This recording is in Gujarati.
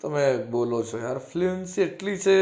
તમે બોલો છો excellent છે